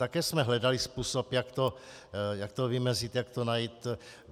Také jsme hledali způsob, jak to vymezit, jak to najít.